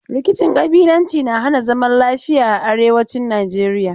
Rkicin ƙabilanci na hana zaman lafiya a arewacin Najeriya.